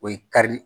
O ye kari